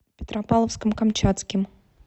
петропавловском камчатским